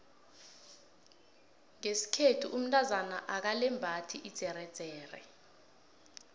ngeskhethu umtazana akalembathi idzeredzere